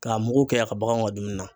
K'a mugu kɛ a ka baganw ka dumuni na.